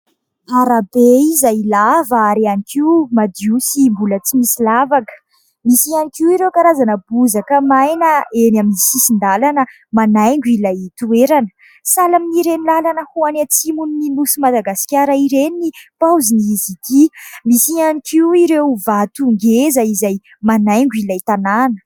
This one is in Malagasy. Arabe izay lava ary ihany koa madio sy mbola tsy misy lavaka. Misy ihany koa ireo karazana bozaka maina eny amin'ny sisin-dalana manaingo ilay toerana. Sahala amin'ireny lalana ho any atsimon'ny nosin'i Madagasikara ireny ny paozin'izy ity. Misy ihany koa ireo vato ngeza izay manaingo ilay tanàna.